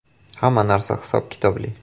“Hamma narsa hisob-kitobli.